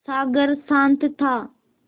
सागर शांत था